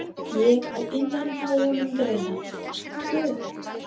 Ég á inni hjá honum greiða, kannski tvo.